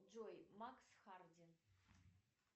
джой макс харди